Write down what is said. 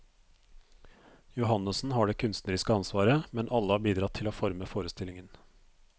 Johannessen har det kunstneriske ansvaret, men alle har bidratt til å forme forestillingen.